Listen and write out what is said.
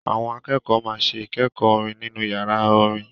Àwọn akẹ́kọ̀ọ́ máa ṣe ìkẹ́kọ̀ọ́ orin nínú yàrá orin.